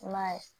I m'a ye